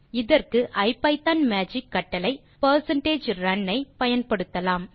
இதற்கு ஐபிதான் மேஜிக் கட்டளை percentage run ஐ பயன்படுத்தலாம்